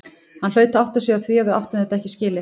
Hann hlaut að átta sig á því að við áttum þetta ekki skilið.